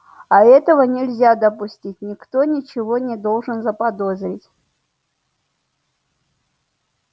а этого нельзя допустить никто ничего не должен заподозрить